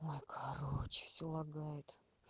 ой короче все лагает